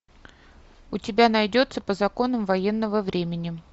у тебя найдется по законам военного времени